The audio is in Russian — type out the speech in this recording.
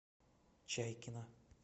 чайкина